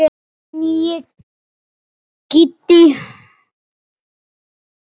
En nýi Kiddi.